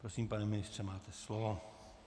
Prosím, pane ministře, máte slovo.